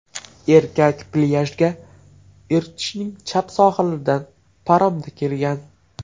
Erkak plyajga Irtishning chap sohilidan paromda kelgan.